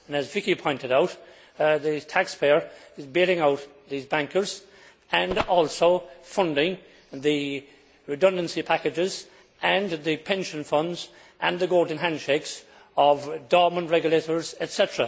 And, as Vicky pointed out, the taxpayer is bailing out these bankers and also funding the redundancy packages and the pension funds and the golden handshakes of dormant regulators, etc.